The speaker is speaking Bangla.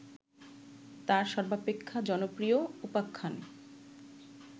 তার সর্বাপেক্ষা জনপ্রিয় উপাখ্যান